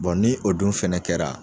ni o dun fɛnɛ kɛra